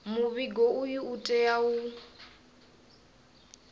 muvhigo uyu u tea u